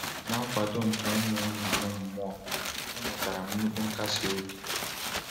Na nkwado nke ụmụnna m mmụọ, enwetara m nnukwu nkasi obi.